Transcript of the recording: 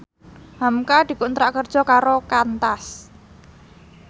hamka dikontrak kerja karo Qantas